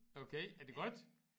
Okay er det godt?